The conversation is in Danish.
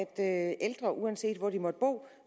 at ældre uanset hvor de måtte bo